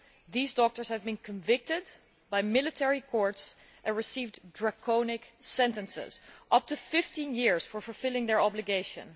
They have now been convicted by military courts and received draconian sentences of up to 15 years for fulfilling their obligations.